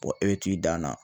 e be t'i dan na